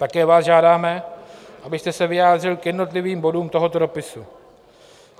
Také vás žádáme, abyste se vyjádřil k jednotlivým bodům tohoto dopisu.